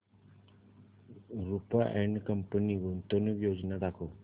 Rupa and company गुंतवणूक योजना दाखव